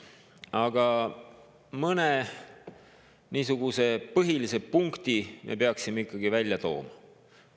Aga mõne põhilise punkti me peaksime ikkagi välja tooma.